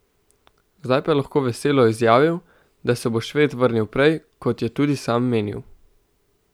Zdaj pa je lahko veselo izjavil, da se bo Šved vrnil prej, kot je tudi sam menil.